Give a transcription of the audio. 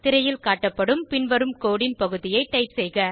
திரையில் காட்டப்படும் பின்வரும் கோடு ன் பகுதியை டைப் செய்க